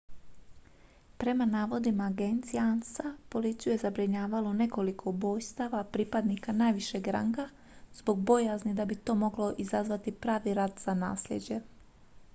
prema navodima agencije ansa policiju je zabrinjavalo nekoliko ubojstava pripadnika najvišeg ranga zbog bojazni da bi to moglo izazvati pravi rat za naslijeđe